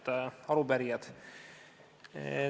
Head arupärijad!